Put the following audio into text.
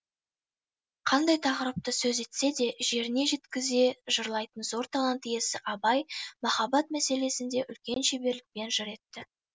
қандай тақырыпты сөз етсе де жеріне жеткізе жырлайтын зор талант иесі абай махаббат мәселесін де үлкен шеберлікпен жыр етті